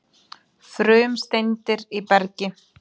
Frumsteindir í bergi